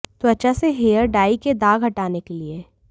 त्वचा से hair dye के दाग हटाने के लिए